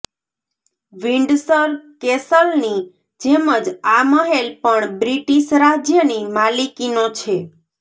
Windsor કેસલની જેમ જ આ મહેલ પણ બ્રિટીશ રાજ્યની માલિકીનો છે